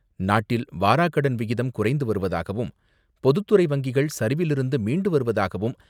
நாட்டில் வாராக்கடன் விகிதம் குறைந்து வருவதாகவும், பொதுத்துறை வங்கிகள் சரிவிலிருந்து மீண்டு வருவதாகவும்